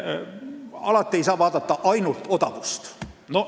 Alati ei saa vaadata ainult odavust.